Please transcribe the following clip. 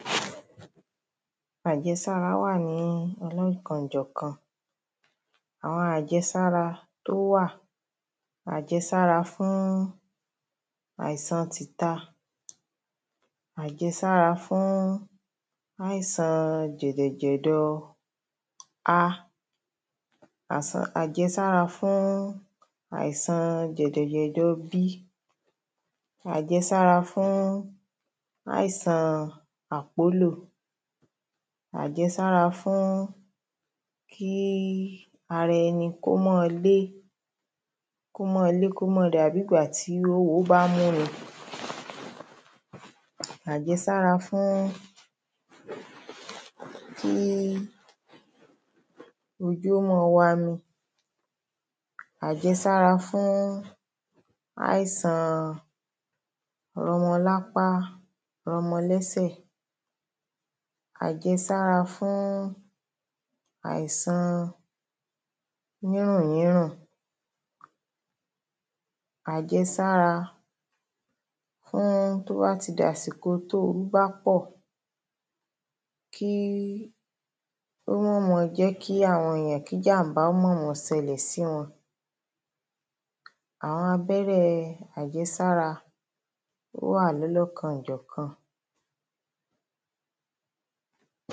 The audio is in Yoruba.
Ajẹsára wà ni ọlọ́kan-òjọ̀kan. Àwọn àjẹsára tó wà àjẹsára fún àìsan tìta àjẹsára fún àìsan jẹ̀dọ̀jẹ̀dọ a. Àẹsára fún àìsan jẹ̀dọ̀jẹ̀dọ̀ b. Àjẹsára fún àìsan àpólò. Àjẹsára fún kíí ara ẹni kó máa lé kó máa lé kó máa dàbí ìgbà tí oówo mú‘ni. Àjẹsára fún kí ojú ó máa wami. Àjẹsára fún àìsàn rọmọlápá rọmọlẹ́sẹ̀. Àjẹsára fún àìsàn yínrùnyínrùn. Àjẹsára fún tó bá ti dàsìkò toórú bá pọ̀ kíí o mama jẹ́ ki àwọn èèyàn kí jàm̀bá máma ṣẹlẹ̀ sí wọn. Àwọn abẹ́rẹ́ àjẹsára ó wà lọ́lọ́kan-òjọ̀kan